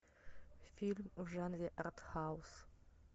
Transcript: фильм в жанре арт хаус